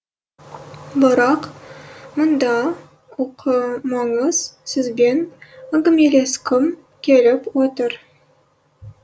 бірақ мұнда оқымаңыз сізбен әңгімелескім келіп отыр